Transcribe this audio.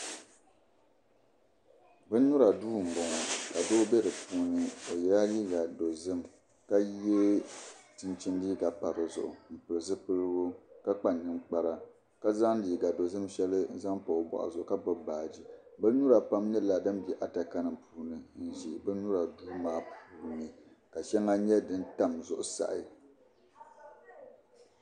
Bin nyura duu n boŋo ka Doo bɛ di puuni o yɛla liiga dozim ka yɛ chinchin liiga pa dizuɣu n pili zipiligu ka kpa ninkpara ka zaŋ liiga dozim shɛli n zaŋ pa o boɣu zuɣu ka gbubi baaji bin nyura pam nyɛla din bɛ adaka nim puuni ka ʒɛ duu maa puuni ka shɛli nyɛ din tam zuɣusaa